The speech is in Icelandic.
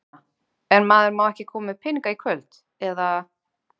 Sunna: En maður má ekki koma með peninga í kvöld, eða?